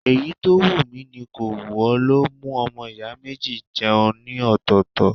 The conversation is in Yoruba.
Èyí tó wù mi kò wù ó ló mú ọmọ ìyá méjì jẹun ní ọ̀tọ̀ọ̀tọ̀.